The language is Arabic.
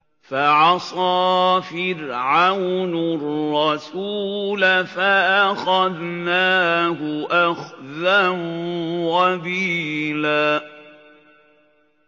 فَعَصَىٰ فِرْعَوْنُ الرَّسُولَ فَأَخَذْنَاهُ أَخْذًا وَبِيلًا